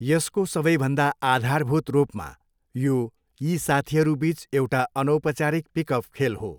यसको सबैभन्दा आधारभूत रूपमा यो यी साथीहरूबिच एउटा अनौपचारिक पिकअप खेल हो।